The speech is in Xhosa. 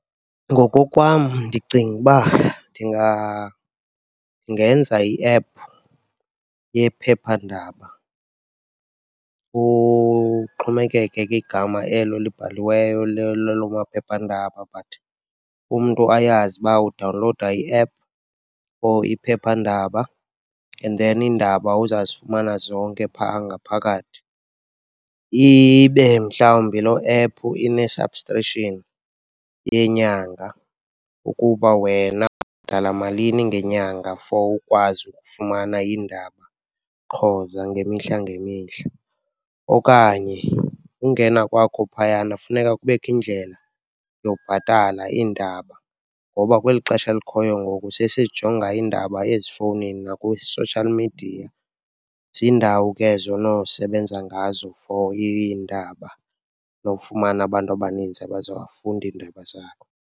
Ngokokwam ndicinga uba ndingenza i-app yephephandaba, kuxhomekeke ke igama elo libhaliweyo laloo maphephandaba but umntu ayazi uba udawunlowuda i-app or iphephandaba and then iindaba uzawuzifumana zonke pha ngaphakathi. Ibe mhlawumbi loo app ine-subscription yenyanga ukuba wena ubhatala malini ngenyanga for ukwazi ukufumana iindaba qho zangemihla ngemihla, okanye ungena kwakho phayana funeka kubekho indlela yokubhatala iindaba, ngoba kweli xesha likhoyo ngoku sesijonga iindaba ezifowunini nakwi-social media. Ziindawo ke ezo onosebenza ngazo for iindaba nofumana abantu abaninzi abazafunda iindaba zakho.